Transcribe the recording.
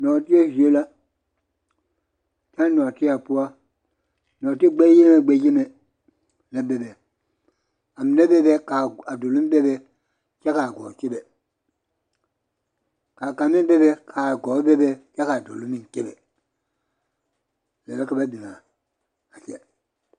Noɔtieɛ zie la kyɛ a noɔtieɛ poɔ noɔti gbɛyenigbɛyeni la bebe a mine bebe kaa dolɔŋ bebe kyɛ kaa gɔɔ kyɛbe kaa kang meŋ bebe kaa gɔɔ bebe kyɛ dolɔŋ meŋ kyɛbe lɛ la ka ba biŋa kyɛ.